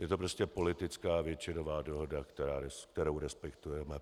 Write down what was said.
Je to prostě politická většinová dohoda, kterou respektujeme.